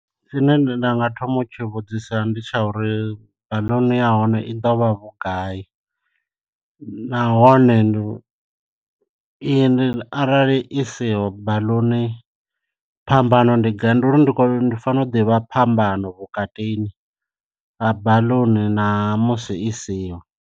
Tshine nda nga thoma u tshi vhudzisa ndi tsha uri baḽuni ya hone i ḓo vha vhugai, nahone ndi i a arali i siho baḽuni phambano ndi gai ndi khou ndi fanela u ḓivha phambano vhukatini ha baḽuni na musi i siho.